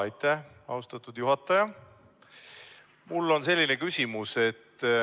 Aitäh, austatud juhataja!